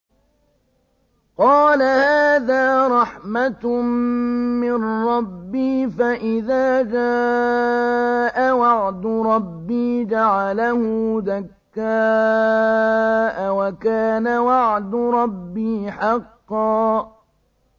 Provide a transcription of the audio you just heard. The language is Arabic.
قَالَ هَٰذَا رَحْمَةٌ مِّن رَّبِّي ۖ فَإِذَا جَاءَ وَعْدُ رَبِّي جَعَلَهُ دَكَّاءَ ۖ وَكَانَ وَعْدُ رَبِّي حَقًّا